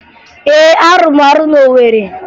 Ee, arụrụ m ọrụ na Owere